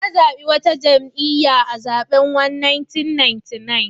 Na zabi wata jam'iyya a zaben 1999.